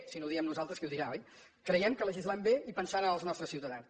si no ho diem nosaltres qui ho dirà oi creiem que legislem bé i pensant en els nostres ciutadans